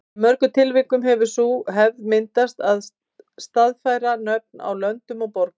Í mörgum tilvikum hefur sú hefð myndast að staðfæra nöfn á löndum og borgum.